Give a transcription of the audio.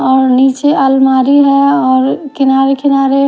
ओर नीचे आलमारी हैं और किनारे किनारे--